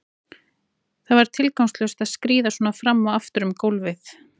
Það var tilgangslaust að skríða svona fram og aftur um gólfið.